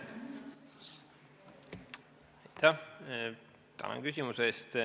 Tänan küsimuse eest!